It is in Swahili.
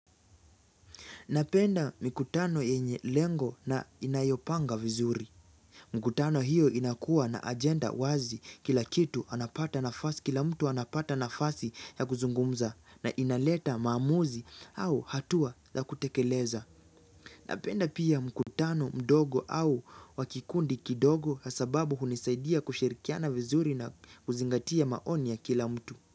Napenda mikutano yenye lengo na inayopanga vizuri. MMkutano hiyo inakua na ajenda wazi kila kitu anapata nafasi kila mtu anapata nafasi ya kuzungumza na inaleta maamuzi au hatua la kutekeleza. Napenda pia mkutano mdogo au wakikundi kidogo ya sababu hunisaidia kushirikiana vizuri na kuzingatia maoni ya kila mtu.